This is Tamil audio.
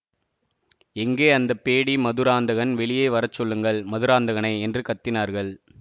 எங்கே அந்த பேடி மதுராந்தகன் வெளியே வர சொல்லுங்கள் மதுராந்தகனை என்று கத்தினார்கள்